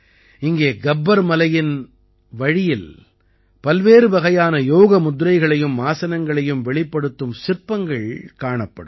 இங்கே கப்பர் மலையின் வழியில் பல்வேறு வகையான யோக முத்ரைகளையும் ஆசனங்களையும் வெளிப்படுத்தும் சிற்பங்கள் காணப்படும்